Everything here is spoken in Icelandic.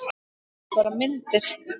Þetta eru bara myndir!